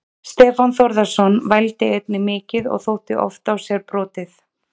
Stefán Þórðarson vældi einnig mikið og þótti oft á sér brotið.